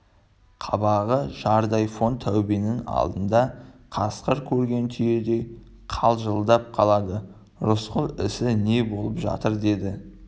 қабағы жардай фон таубенің алдында қасқыр көрген түйедей қалшылдап қалады рысқұл ісі не болып жатыр деді